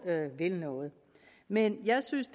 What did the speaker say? vil noget men jeg synes